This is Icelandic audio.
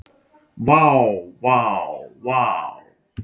Vá, vá vá.